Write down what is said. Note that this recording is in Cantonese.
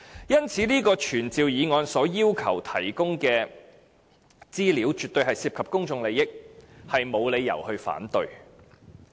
因此，這項傳召議案要求提供的資料絕對涉及公眾利益，實在沒有理由反對。